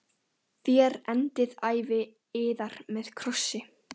Þér endið ævi yðar með krossi.